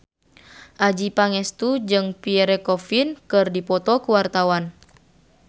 Adjie Pangestu jeung Pierre Coffin keur dipoto ku wartawan